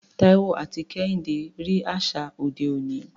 Taiwo àti Kehinde rí àṣà òde òní.